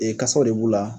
Ee kasaw de b'u la